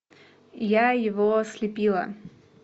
я его слепила